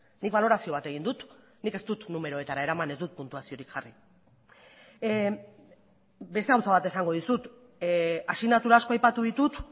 nik balorazio bat egin dut nik ez dut numeroetara eraman ez dut puntuaziorik jarri beste gauza bat esango dizut asignatura asko aipatu ditut